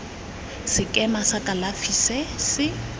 sekema sa kalafi se se